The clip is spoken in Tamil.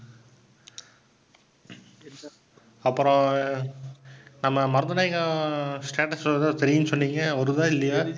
அப்புறம் நம்ம மருதநாயகம் status வருதா தெரியும்னு சொன்னீங்க. வருதா, இல்லயா?